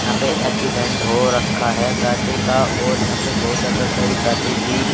यहां पे एक्सीडेंट हो रखा है गाडि का और यहा पे बहुत ज्यादा सही गाडि भी--